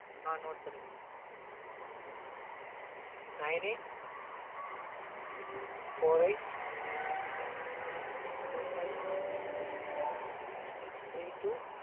ஆஹ் note பண்ணிக்கோங்க nine eight four eight two five three two